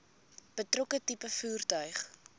betrokke tipe voertuig